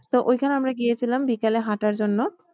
তো ওই খানে আমরা গিয়েছিলাম বিকালে হাঁটার জন্য।